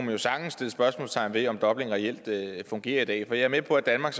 jo sagtens sætte spørgsmålstegn ved om dublin reelt fungerer i dag jeg er med på at danmark